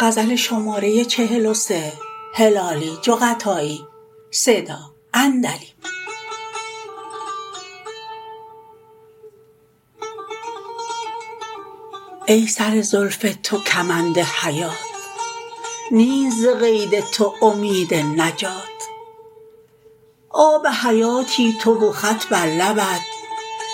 ای سر زلف تو کمند حیات نیست ز قید تو امید نجات آب حیاتی تو و خط بر لبت